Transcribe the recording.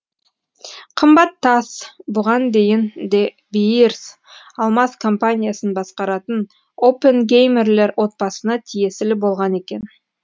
қымбат тас бұған дейін де биирс алмаз компаниясын басқаратын оппенгеймерлер отбасына тиесілі болған екен